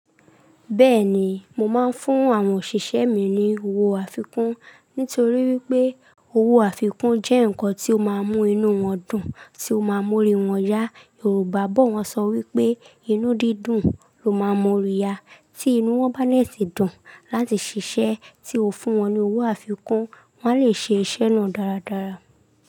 Bẹ́ẹ̀ni, mo máa ń fún àwọn òṣìṣẹ́ mi ní owó àfikún nítorí wípé owó àfikún jẹ́ ǹkan tí ó máa ń mú inú wọn dùn, tí ó máa ń mú ori wọn yá. Yorùbá bọ̀ wọ́n sọ wípé, "inú dídùn ló máa ń mú ori yá." Tí inú wọn bá dè tì dùn láti ṣiṣẹ́ tí ó fún wọn ní owó àfikún, wọn a lè ṣe iṣẹ́ náà dáradára.